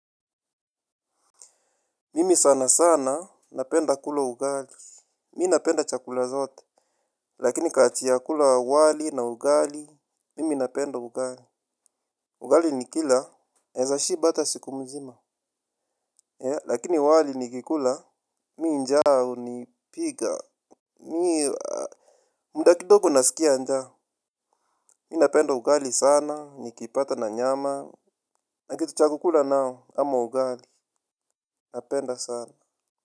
Mimi sana sana. Napenda kula ugali. Mi napenda chakula zote. Lakini kati ya kula wali na ugali. Mimi napenda ugali. Ugali ni kila. Naeza shiba hata siku mzima. Lakini wali nikikula. Mi njaa hunipiga. Mi mda kidogo nasikia njaa. Mi napenda ugali sana. Nikipata na nyama. Na kitu cha kukula nao ama ugali. Napenda sana.